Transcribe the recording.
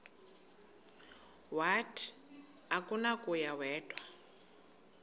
wathi akunakuya wedw